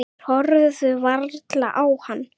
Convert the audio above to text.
Þeir horfðu varla á hann.